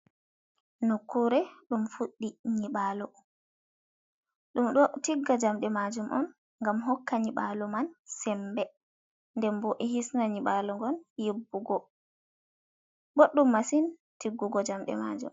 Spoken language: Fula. Nokkure dum fuddi nyiɓalu dum ɗo tigga jamɗe majum on gam hokka nyibalu man sembe, nden bo hisna nyibalu gon yibbugo bodum masin tiggugo jamde majum.